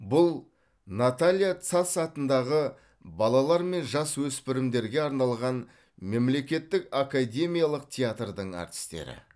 бұл наталия сац атындағы балалар мен жасөспірімдерге арналған мемлекеттік академиялық театрдың әртістері